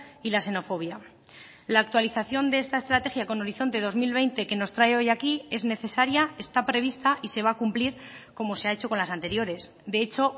y la xenofobia la actualización de esta estrategia con horizonte dos mil veinte que nos trae hoy aquí es necesaria está prevista y se va a cumplir como se ha hecho con las anteriores de hecho